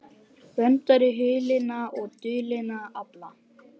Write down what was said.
Verndari hulinna og dulinna afla